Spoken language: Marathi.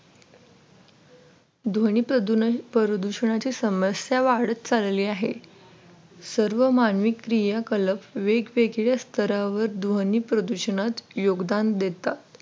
ध्वनी प्रदूषणाची समस्या वाढत चालली आहे सर्व मानवी क्रिया कलम वेगवेगळ्या स्तरावर ध्वनी प्रदूषणात योगदान देतात.